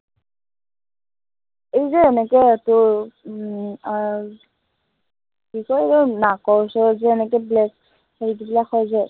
এই যে এনেকুৱা তোৰ উম আহ কি কয় এৰ নাকৰ ওচৰত যে এনেকে black হেৰি বিলাক হয় যে